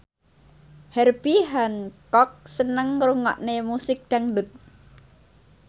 Herbie Hancock seneng ngrungokne musik dangdut